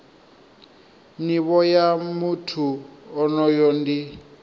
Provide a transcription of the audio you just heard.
nivho ya muthu onoyo ndi